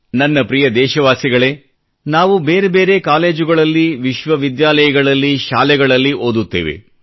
ನನ್ನ ಪ್ರಿಯ ದೇಶವಾಸಿಗಳೇ ನಾವು ಬೇರೆ ಬೇರೆ ಕಾಲೇಜುಗಳಲ್ಲಿ ವಿಶ್ವ ವಿದ್ಯಾಲಯಗಳಲ್ಲಿ ಶಾಲೆಗಳಲ್ಲಿ ಓದುತ್ತೇವೆ